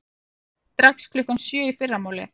Strax klukkan sjö í fyrramálið.